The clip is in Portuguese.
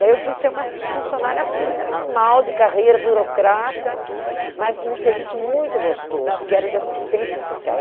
Daí eu fui ser uma funcionária pública normal, de carreira, burocrata, mas num serviço muito gostoso, que era de assistência social.